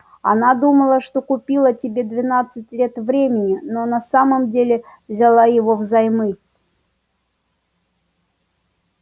она думала что купила тебе двенадцать лет времени но на самом деле взяла его взаймы